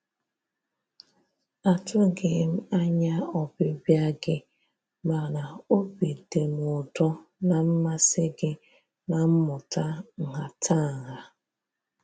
A tụghị m anya ọbịbịa gị mana obi dị m ụtọ na mmasị gị na mmụta nhatanha.